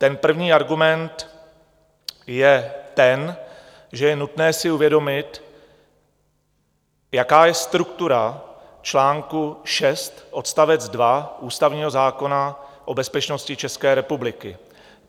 Ten první argument je ten, že je nutné si uvědomit, jaká je struktura článku 6 odst. 2 ústavního zákona o bezpečnosti České republiky.